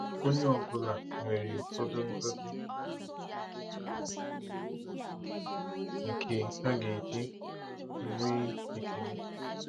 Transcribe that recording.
Onye ọ bụla nwere ụfọdụ ngozi nke ọ ga-eji nwee ekele.